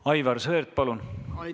Aivar Sõerd, palun!